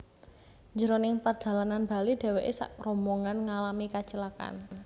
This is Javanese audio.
Jroning perdalanan bali dheweke sakrombongan ngalami kacilakan